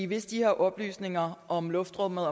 hvis de her oplysninger om luftrummet